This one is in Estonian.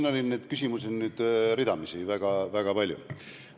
No siin oli küsimusi ridamisi, väga palju.